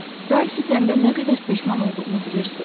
Ralfi itəndə nə qədər peşman olduğumu bilirsiz?